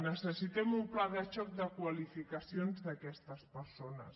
necessitem un pla de xoc de qualificacions d’aquestes persones